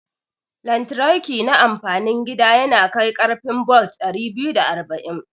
Lantriki na amfanin gida yanakai karfi bolt dari biyu da arba'in